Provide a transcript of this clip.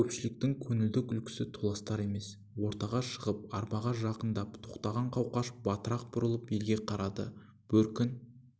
көпшілікгің көңілді күлкісі толастар емес ортаға шығып арбаға жақындап тоқтаған қауқаш батырақ бұрылып елге қарады бөркін